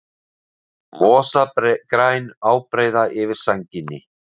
Mosagræn ábreiða yfir sænginni.